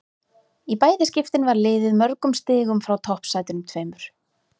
Í bæði skiptin var liðið mörgum stigum frá toppsætunum tveimur.